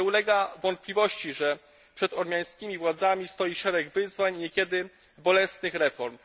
Nie ulega wątpliwości, że przed ormiańskimi władzami stoi szereg wyzwań i niekiedy bolesnych reform.